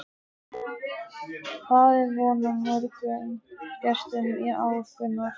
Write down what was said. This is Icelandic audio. Hvað er von á mörgum gestum í ár, Gunnar?